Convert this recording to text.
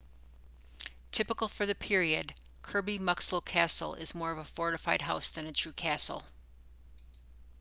typical for the period kirby muxloe castle is more of a fortified house than a true castle